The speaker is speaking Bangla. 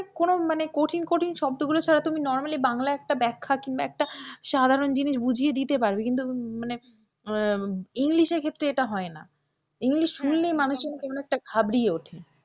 কোন মানে কঠিন কঠিন শব্দ গুলো ছাড়া তুমি normally বাংলা একটা ব্যাখা কিংবা একটা সাধারণ জিনিস বুঝিয়ে দিতে পারবে কিন্তু মানে আহ english ক্ষেত্রে এটা হয়না, english শুনলে মানুষ যেনো কেমন একটা ঘাবড়িয়ে ওঠে।